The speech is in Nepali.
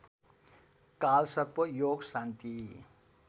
कालसर्प योग शान्ति